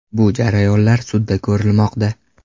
Bu jarayonlar sudda ko‘rilmoqda.